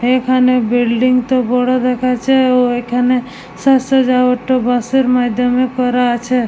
এখানে বিল্ডিং -টা বড় দেখাচ্ছে ও এখানে সাজসজ্জা বাঁশের মাধ্যমে করা আছে ।